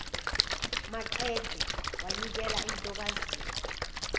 maqede wanikela entokazini